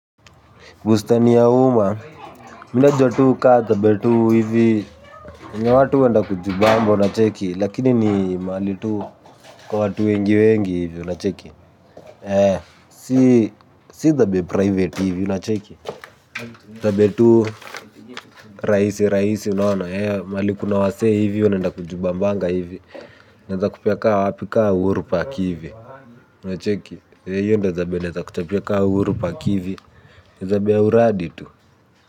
Bustani ya umma, mi najua tuu kaa zabe tuu hivi. Kuna watu huenda kujibamba lakini unacheki lakini ni mahali tu kwa watu wengi wengi unacheki si zabe private hivi. Zabe tuu. Rahisi rahisi unaona, eh, mahali kuna wasee hivi wanaenda kujibambanga hivi. Naeza kupea ka wapi kaa uhuru park hivi unacheki, ee hiyo ndo zabe naeza kuchapia ka uhuru park ni zabe ya uradi.